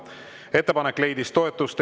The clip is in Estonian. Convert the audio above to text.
Ettepanek leidis toetust.